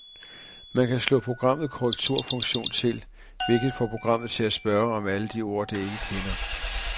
Man kan slå programmet korrekturfunktion til, hvilket får programmet til at spørge om alle de ord, det ikke kender.